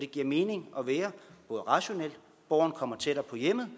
giver mening at være borgeren kommer tættere på hjemmet